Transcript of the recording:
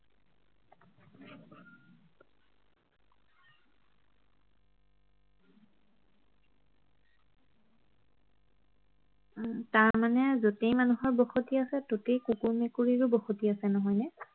তাৰমানে যতেই মানুহৰ বসতি আছে ততেই কুকুৰ মেকুৰীৰো বসতি আছে নহয়নে